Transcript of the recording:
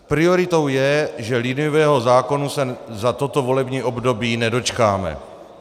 Prioritou je, že liniového zákona se za toto volební období nedočkáme.